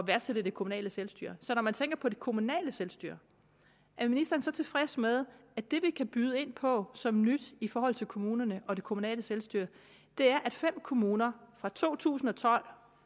værdsætte det kommunale selvstyre når man tænker på det kommunale selvstyre er ministeren så tilfreds med at det vi kan byde ind på som nyt i forhold til kommunerne og det kommunale selvstyre er at fem kommuner fra to tusind og tolv